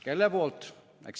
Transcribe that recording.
Kelle poolt?